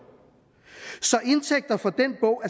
så indtægter fra den bog